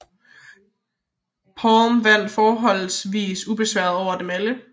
Palm vandt forholdsvis ubesværet over dem alle